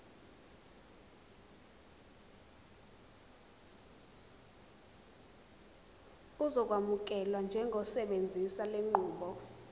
uzokwamukelwa njengosebenzisa lenqubo